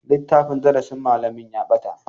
Littafin darasin malamin ya bata.